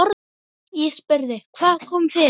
Ég spurði: Hvað kom fyrir?